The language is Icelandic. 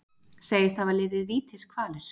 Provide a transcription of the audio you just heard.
Segist hafa liðið vítiskvalir